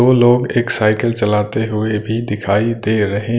दो लोग एक साइकिल चलाते हुए भी दिखाई दे रहे--